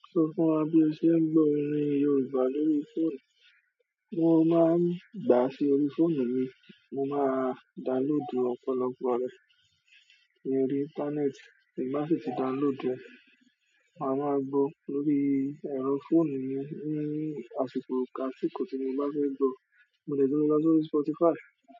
Sọ fún wa bi ose gbo orin Yorùbá lórí fóònù. Mo máa ń gbá sí orí fóònù mi, mo máa download ọ̀pọ̀lọpọ̀ rẹ lórí internet. Bí mo bá ti download ẹ, màá gbọ́ lórí ẹ̀rọ fóònù mi ní àsìkò ká tí kò tí mo bá fẹ́ gbọ̀. Mo lè tún gbọ́ sórí Spotify.